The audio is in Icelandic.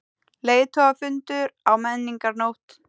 Leiðtogafundur á Menningarnótt